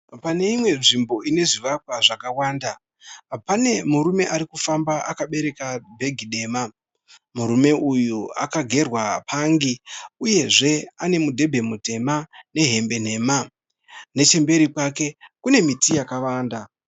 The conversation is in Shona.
Pane imwe nzvimbo ine zvivakwa zvakawanda. Pane murume ari kufamba akabereka bhegi dema. Murume uyu akagerwa pangi uyezve ane mudhebhe mutema nehembe nhema. Nechemberi kwake kune miti yakawanda.